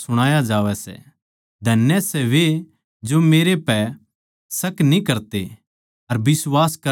धन्य सै वे जो मेरै पै शक न्ही करते अर बिश्वास करणा न्ही छोड़ता